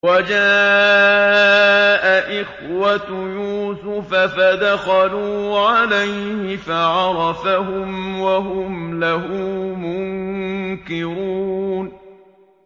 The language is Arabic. وَجَاءَ إِخْوَةُ يُوسُفَ فَدَخَلُوا عَلَيْهِ فَعَرَفَهُمْ وَهُمْ لَهُ مُنكِرُونَ